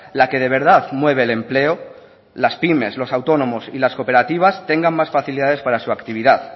la que de verdad mueve el empleo las pymes los autónomos y las cooperativas tengan más facilidades para su actividad